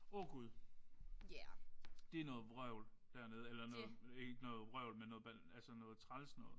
Åh Gud. Det er noget vrøvl dernede. Eller noget ikke noget vrøvl men noget altså noget træls noget